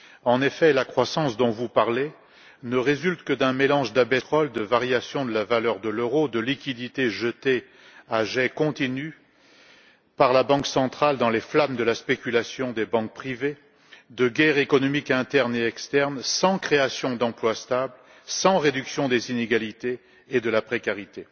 En effet, la croissance dont vous parlez ne résulte que d'un mélange d'abaissement des prix du pétrole, de variations de la valeur de l'euro, de liquidités jetées à jets continus par la Banque centrale dans les flammes de la spéculation des banques privées et de guerres économiques internes et externes, sans création d'emplois stables, sans réduction des inégalités et de la précarité.